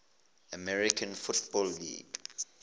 american football league